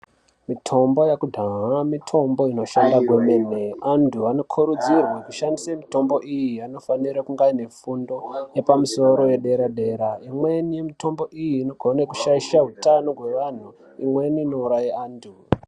Mitombo yekudhaya mitombo inoshanda kwemene antu anokurudzirwe kushandise mitombo iyi anofanire kunge ainefundo yepamusoro yedera dera imweni mitombo iyi inogone kushaisha hutano hwevantu imweni inouraye antu.